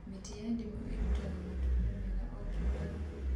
Mĩtĩ ya ndimũ ĩrutaga matunda mega o kĩmera